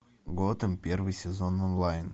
готэм первый сезон онлайн